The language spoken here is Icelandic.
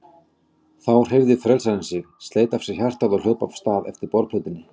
Þá hreyfði frelsarinn sig, sleit af sér hjartað og hljóp af stað eftir borðplötunni.